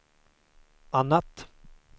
annat